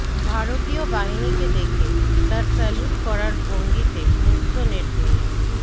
ভারতীয় বাহিনীকে দেখে তাঁর স্যালুট করার ভঙ্গিতে মুগ্ধ নেট দুনিয়া